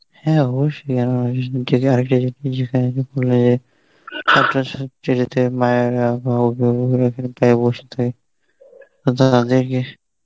হ্যাঁ অবশ্যই